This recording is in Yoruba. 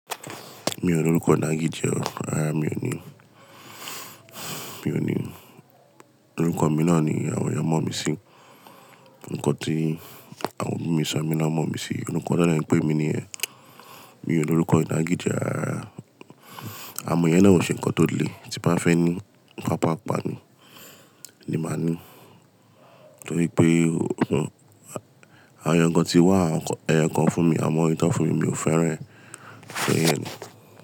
Mi ò ní orúkọ inagije o, rará mi ò ní, mi ò ní, orúkọ mi náà ni àwọn eeyán mọ̀ mí sí, nǹkan tí àwọn obi mi so mí lọ́mọ mí sí, orúkọ tan de n pé mi ni yen. Mi ò ní orúkọ inagije rara, à mọ́ iyẹn náà ò ṣe ǹkan tó le, tí bá fẹ́ ní ǹkan pàápàá ni, ni màá ní. Nítorí pé àwọn eeyan kan tí wá ẹ̀yokan fún mi, àwọn eyi tan fún mi mi ò fẹ́ran e.